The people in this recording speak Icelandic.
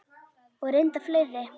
Og reyndar fleiri.